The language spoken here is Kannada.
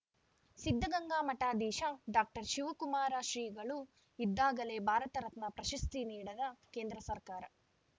ಸಿದ್ಧಗಂಗಾ ಮಠಾಧೀಶ ಡಾಕ್ಟರ್ ಶಿವಕುಮಾರ ಶ್ರೀಗಳು ಇದ್ದಾಗಲೇ ಭಾರತ ರತ್ನ ಪ್ರಶಸ್ತಿ ನೀಡದ ಕೇಂದ್ರ ಸರ್ಕಾರ